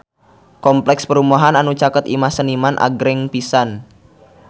Kompleks perumahan anu caket Imah Seniman agreng pisan